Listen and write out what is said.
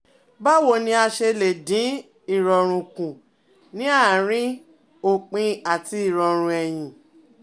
Báwo ni a ṣe lè dín ìrọ̀rùn kù ní àárín òpin àti ìrọ̀rùn ẹyin?